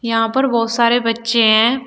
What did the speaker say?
यहां पर बहुत सारे बच्चे हैं।